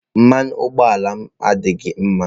Mmanụ ụgbọ ala m adịghị mma